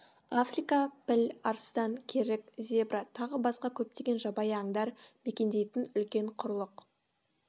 африка піл арыстан керік зебра тағы басқа көптеген жабайы аңдар мекендейтін үлкен құрлық